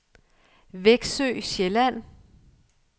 Veksø Sjælland